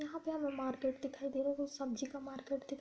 यहाँ पे हमें मार्केट दिखाई दे रहा है वो सब्जी का मार्केट दिख --